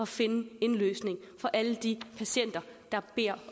finde en løsning for alle de patienter der beder